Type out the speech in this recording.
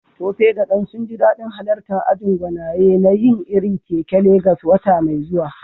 Tope da Dan sun ji dadin halartar ajin gwanaye na yin irin kek a Legas wata mai zuwa.